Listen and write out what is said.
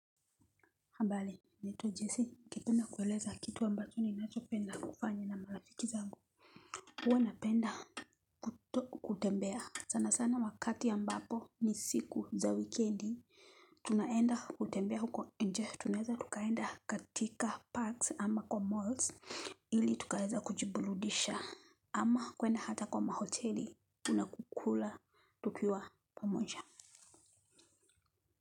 Habari, naitwa Jesse, ningependa kueleza kitu ambacho ninacho penda kufanya na marafiki zangu. Huwa napenda kutembea sana sana wakati ambapo ni siku za wikendi. Tunaenda kutembea huko nje. Tunaeza tukaenda katika parks ama kwa malls ili tukaeza kujiburudisha ama kwenda hata kwa mahoteli unakukula tukiwa pamoja.